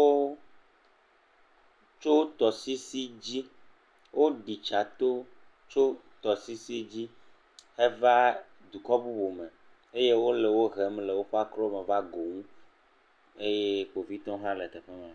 otso tɔsisi dzi, oɖitsa tso tɔsisi dzi heva dukɔ bubu me, eye wole wo hem le woƒe akoro me va go ŋu eye kpovitɔ hã le teƒe ma.